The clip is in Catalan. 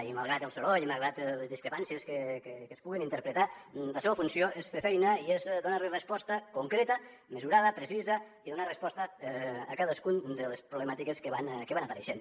i malgrat el soroll malgrat les discrepàncies que es puguin interpretar la seva funció és fer feina i és donar hi resposta concreta mesurada precisa i donar resposta a cadascuna de les problemàtiques que van apareixent